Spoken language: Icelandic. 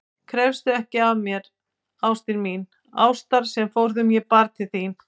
Krefstu ekki af mér, ástin mín, ástar sem forðum ég bar til þín.